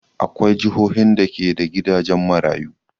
Akwai jihohin da ke da gidajen maruyu.